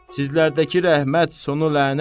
Sizlərdəki rəhmət, sonu lənət.